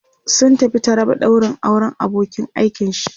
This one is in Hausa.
sun tafi taraba daurin auran abokin aikin shi